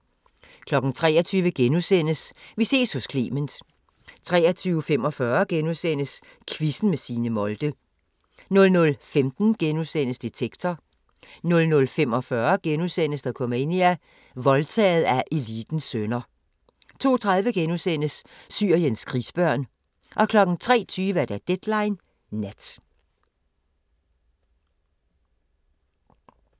23:00: Vi ses hos Clement * 23:45: Quizzen med Signe Molde * 00:15: Detektor * 00:45: Dokumania: Voldtaget af elitens sønner * 02:30: Syriens krigsbørn * 03:20: Deadline Nat